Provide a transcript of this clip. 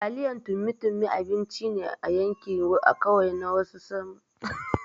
Taliyan Tummy Tummy abinci ne na yanki, kawai ana samunsa a wasu sassan duniya